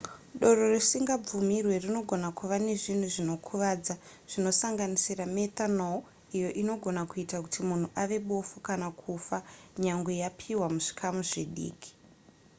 doro risingabvumirwe rinogona kuva nezvinhu zvinokuvadza zvinosanganisira methanol iyo inogona kuita kuti munhu ave bofu kana kufa nyangwe yapiwa muzvikamu zvidiki